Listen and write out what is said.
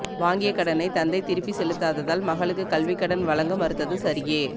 வாங்கிய கடனை தந்தை திருப்பி செலுத்தாததால் மகளுக்கு கல்விக் கடன் வழங்க மறுத்தது சரியே